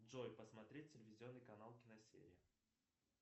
джой посмотреть телевизионный канал киносерия